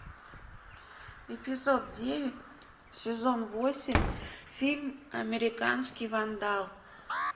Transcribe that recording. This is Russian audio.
эпизод девять сезон восемь фильм американский вандал